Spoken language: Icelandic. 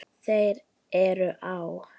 Þeir eru á